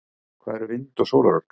hvað eru vind og sólarorka